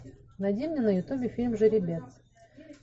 найди мне на ютубе фильм жеребец